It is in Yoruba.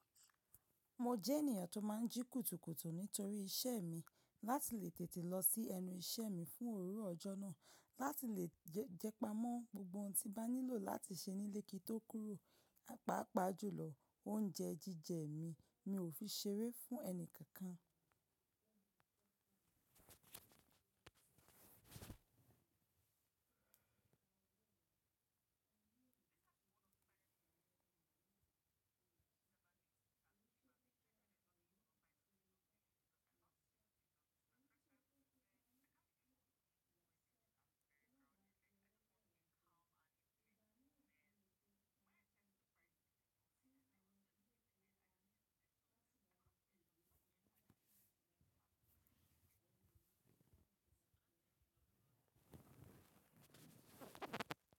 Mo jènìyàn tó máa ń jí kùtùkùtù nítorí iṣẹ́ mi láti lè tètè lọ sí ẹnu iṣẹ́ mi fún òwúrọ̀ ọjọ́ náà láti lè jẹ́pa mọ́ gbogbo ohun tí n bá nílò láti ṣe nílé kí n tó kúrò, à paapaa jùlọ oúnjẹ jíjẹ mi. Mi ò fi ṣeré fún ẹni kankan.